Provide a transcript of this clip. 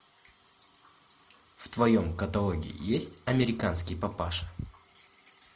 в твоем каталоге есть американский папаша